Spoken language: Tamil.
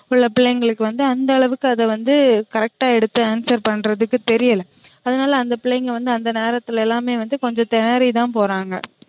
சில பிள்ளைங்களுக்கு வந்து அந்த அளவுக்கு அத வந்து correct ஆ எடுத்து answer பண்றதுக்கு தெரியல அதனால அந்த பிள்ளைங்க வந்து அந்த நேரத்துல எல்லாமே கொஞ்சம் தெனறிதான் போறாங்க